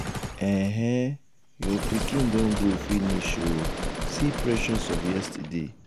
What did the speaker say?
ehee! your pikin don grow finish ooo. see precious of yesterday.